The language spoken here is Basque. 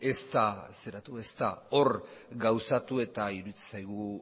ez da hor gauzatu eta iruditzen zaigu